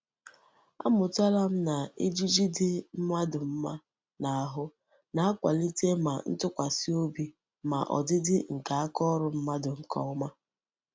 Amutala m na ejiji di mmadu mma n'ahu na-akwalite ma ntukwasi obi ma odidi nke aka órú mmadu nke oma.